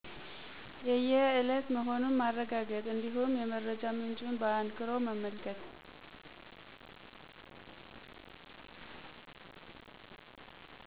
የየእለት መሆኑን ማረጋገጥ እንዲሁም የመረጃ ምንጩን በአንክሮ መመልከት